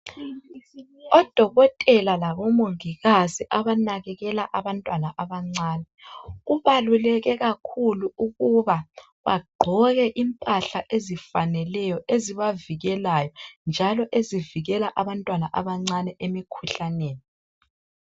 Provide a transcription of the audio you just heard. Odokotela labomongikazi abanakekela abantwana abancane kubaluleke kakhulu ukuba bagqoke impahla ezifaneleyo ezibavikelayo, njalo ezivikela abantwana abancane emikhuhlaneni.